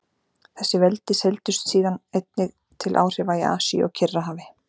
Þessi veldi seildust síðan einnig til áhrifa í Asíu og Kyrrahafi.